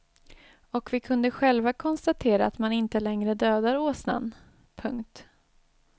Och vi kunde själva konstatera att man inte längre dödar åsnan. punkt